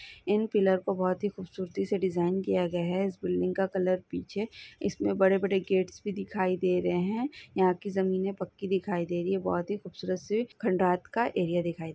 इन pillar को बहुत ही खूबसूरती से डिजाइन किया गया है इस बिल्डिंग का कलर पीछे इसमें बड़े बड़े गेट्स भी दिखाई दे रहे हैं यहाँ की जमीने पक्की दिखाई दे रही है बहुत ही खूबसूरत सी खंडात का एरिया दिखाई दे--